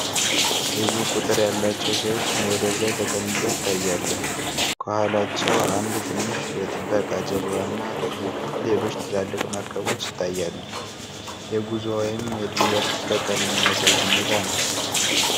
ብዙ ቁጥር ያላቸው ሰዎች ወደብ ላይ ተቀምጠው ይታያሉ። ከኋላቸው አንድ ትንሽ የጥበቃ ጀልባና ሌሎች ትላልቅ መርከቦች ይታያሉ። የጉዞ ወይም የድንበር ጥበቃን የሚያሳይ ሁኔታ ነው።